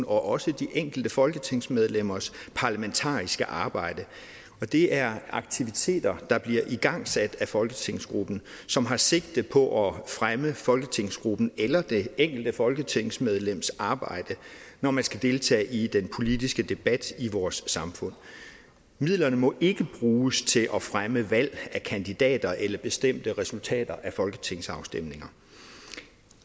og også de enkelte folketingsmedlemmers parlamentarisk arbejde det er aktiviteter der bliver igangsat af folketingsgruppen som har sigte på at fremme folketingsgruppens eller det enkelte folketingsmedlems arbejde når man skal deltage i den politiske debat i vores samfund midlerne må ikke bruges til at fremme valg af kandidater eller bestemte resultater af folketingsafstemninger